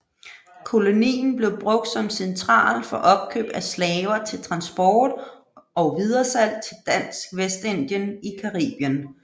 Kolonien blev brugt som central for opkøb af slaver til transport og videresalg til Dansk Vestindien i Caribien